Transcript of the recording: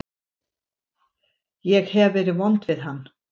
Ég hef verið vond við hann.